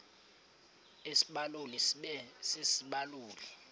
isibaluli sibe sisibaluli